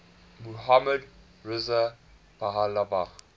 mohammad reza pahlavi